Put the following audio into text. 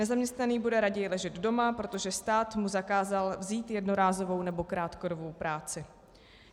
Nezaměstnaný bude raději ležet doma, protože stát mu zakázal vzít jednorázovou nebo krátkodobou práci.